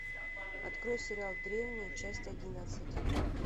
открой сериал древние часть одиннадцать